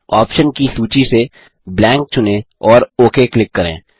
option की सूची से ब्लैंक चुनें और ओक क्लिक करें